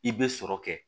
I bɛ sɔrɔ kɛ